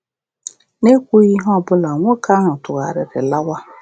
N’ekwughị ihe ọbụla, nwoke ahụ tụgharịrị lawa.